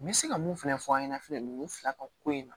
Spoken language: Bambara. N bɛ se ka mun fɛnɛ fɔ an ɲɛna fɛnɛ ninnu fila ka ko in na